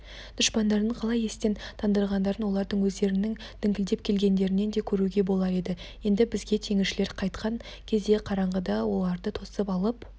дұшпандарын қалай естен тандырғандарын олардың өздерінің діңкелеп келгендерінен де көруге болар еді енді бізге теңізшілер қайтқан кезде қараңғыда оларды тосып алып